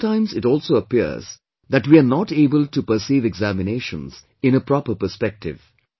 Sometimes it also appears that we are not able to perceive examinations in a proper perspective